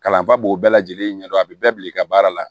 Kalanfa b'o bɛɛ lajɛlen ɲɛdɔn a bɛ bɛɛ bila i ka baara la